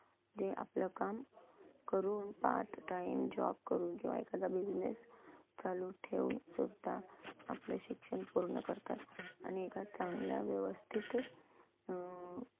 जे आपलं काम ककरून part time job करून किंवा एखादा business चालू ठेऊन सुद्धा आपलं शिक्षण पूर्ण करतात, आणि एका चांगल्या व्यवस्थित अं